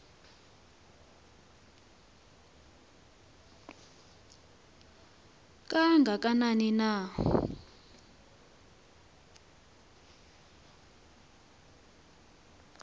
kanga kanani na